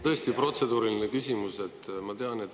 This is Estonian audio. Tõesti, protseduuriline küsimus.